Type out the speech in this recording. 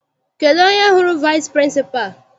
Kedụ onye hụrụ vici pịrịnsịpalụ?